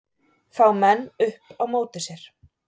Fá menn upp á móti sér